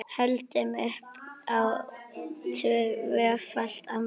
Höldum upp á tvöfalt afmæli.